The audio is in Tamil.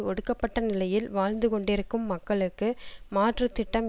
ஒடுக்கப்பட்ட நிலையில் வாழ்ந்து கொண்டிருக்கும் மக்களுக்கு மாற்று திட்டம்